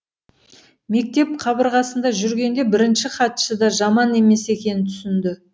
мектеп қабырғасында жүргенде бірінші хатшы да жаман емес екенін түсінді